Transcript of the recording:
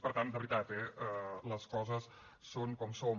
per tant de veritat eh les coses són com són